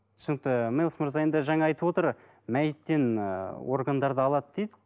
түсінікті мелс мырза енді жаңа айтып отыр мәйттен ы органдарды алады дейді